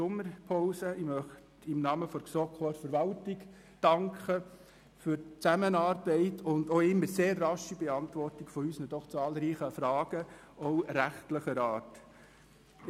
Auch möchte ich im Namen der GSoK der Verwaltung für die Zusammenarbeit und die immer sehr rasche Beantwortung unserer doch recht zahlreichen Fragen, auch rechtlicher Art, danken.